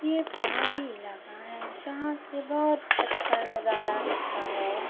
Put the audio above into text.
ये पहाड़ी इलाका है। जहाँ से बहोत अच्छा नजारा दिखता है।